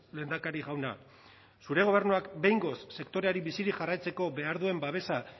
lehendakari jauna zure gobernuak behingoz sektoreari bizirik jarraitzeko behar duen babesa